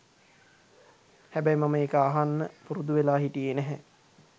හැබැයි මම ඒක අහන්න පුරුදුවෙලා හිටියේ නැහැ.